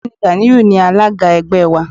Ọ̀gbẹ́ni Ganiu ni alága ẹgbẹ́ wa.